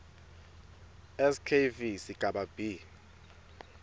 skv sigaba b